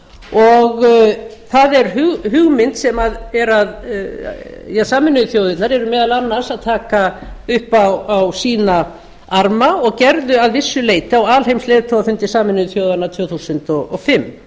og það er hugmynd sem sameinuðu þjóðirnar eru meðal annars að taka upp á sína arma og gerðu að vissu leyti á alheimsleiðtogafundi sameinuðu þjóðanna tvö þúsund og fimm